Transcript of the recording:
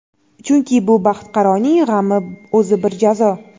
chunki bu baxtiqaroning g‘ami o‘zi bir jazo.